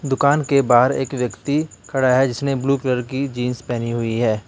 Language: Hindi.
दुकान के बाहर एक व्यक्ति खड़ा है जिसने ब्लू कलर की जींस पहनी हुई है।